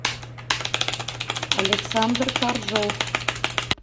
александр коржов